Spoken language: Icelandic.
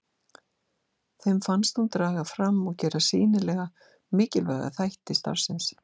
Þeim finnst hún draga fram og gera sýnilega mikilvæga þætti starfsins.